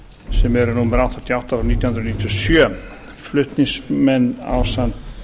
sem eru númer áttatíu og átta nítján hundruð níutíu og sjö flutningsmenn ásamt